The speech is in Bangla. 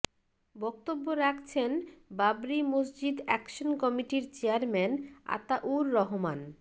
বক্তব্য রাখছেন বাবরী মসজিদ অ্যাকশন কমিটির চেয়ারম্যান আতাউর রহমান